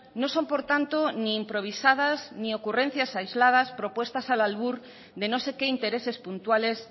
no son por tanto ni improvisadas ni ocurrencias aisladas propuestas al albur de no sé qué intereses puntuales